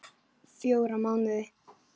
Fjóra mánuði.